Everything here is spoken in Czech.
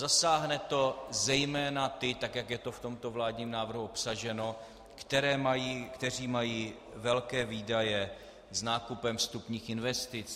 Zasáhne to zejména ty, tak jak je to v tomto vládním návrhu obsaženo, kteří mají velké výdaje s nákupem vstupních investic.